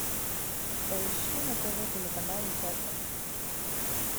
поищи на тв телеканал усадьба